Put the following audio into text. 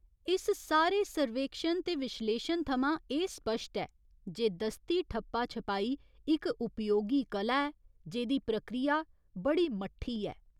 इस सारे सर्वेक्षन ते विश्लेशन थमां एह् स्पश्ट ऐ जे दस्ती ठप्पा छपाई इक उपयोगी कलाा ऐ जेह्दी प्रक्रिया बड़ी मट्ठी ऐ।